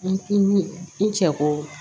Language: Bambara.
N i cɛ ko